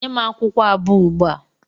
Nye m akwụkwọ abụọ ugbua!